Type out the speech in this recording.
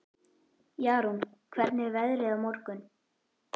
Jarún, hvernig er veðrið á morgun?